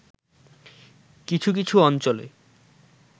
কিছু কিছু অঞ্চলে